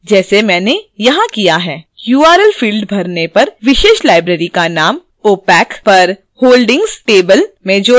url field भरने पर विशेष library का name opac पर holdings table में जोड़ा जाएगा